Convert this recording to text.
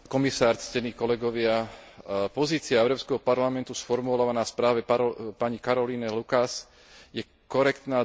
Pozícia Európskeho parlamentu sformulovaná v správe pani Caroline Lukas je korektná, dobrá, a preto ju treba podporiť.